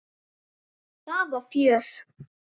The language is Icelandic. Það var fjör.